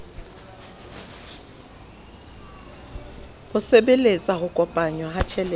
ho sebeletsa ho kopanngwa ha